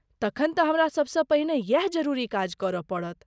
तखन तँ हमरा सबसँ पहिने यैह जरूरी काज करय पड़त।